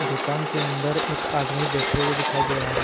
दुकान के अन्दर एक आदमी बैठे हुए दिखाई दे रहा हैं।